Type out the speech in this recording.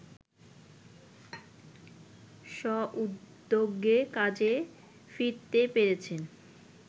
স্ব-উদ্যোগে কাজে ফিরতে পেরেছেন